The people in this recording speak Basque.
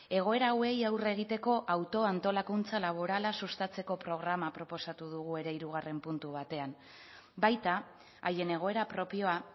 egoera hauei aurre egiteko autoantolakuntza laborala sustatzeko programa proposatu dugu ere hirugarren puntu batean baita haien egoera propioa